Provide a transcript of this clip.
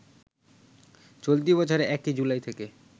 চলতি বছরের ১ জুলাই থেকে